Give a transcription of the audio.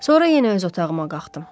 Sonra yenə öz otağıma qalxdım.